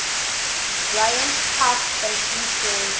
bryant park fashion show